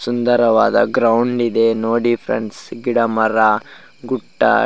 ಸುಂದರವಾದ ಗ್ರೌಂಡ್ ಇದೆ ನೋಡಿ ಫ್ರೆಂಡ್ಸ್ ಗಿಡ ಮರ ಗುಡ್ಡ --